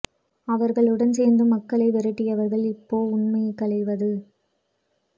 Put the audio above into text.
அவர்கழுடன் சேர்ந்து மக்க்ளை விரட்டியவர்கள் இப்போ உண்மைகளையாவ்து